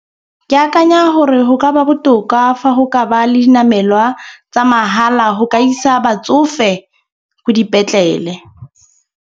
Ke akanya gore go ka ba botoka fa go ka ba le dinamelwa tsa mahala go ka isa batsofe ko dipetlele.